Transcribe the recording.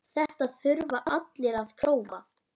Þetta þurfa allir að prófa.